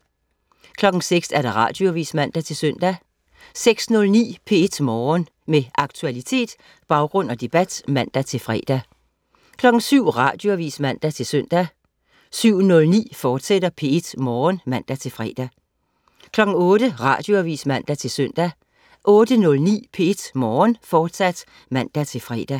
06.00 Radioavis (man-søn) 06.09 P1 Morgen. Med aktualitet, baggrund og debat (man-fre) 07.00 Radioavis (man-søn) 07.09 P1 Morgen, fortsat (man-fre) 08.00 Radioavis (man-søn) 08.09 P1 Morgen, fortsat (man-fre)